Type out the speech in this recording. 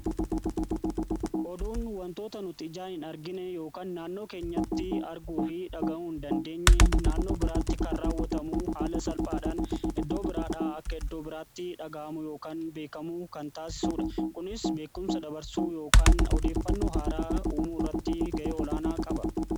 oduun wantoota nuti ijaan hin argine yookaan naannoo keenyatti arguu fi dhaga'uun hin dandeenye naannoo biraatti kan raawwatamuu haala salphaadhaan eddoo biraadhaa akka eddoo biraatti dhaga'amu yookaan beekamuu kan taasisuudha. kunis beekumsa dabarsuu yokaan odeeffannuu haaraa uumuu irratti ga'ee olaanaa qaba